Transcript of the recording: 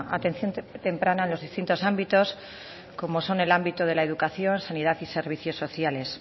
atención temprana en los distintos ámbitos como son el ámbito de la educación sanidad y servicios sociales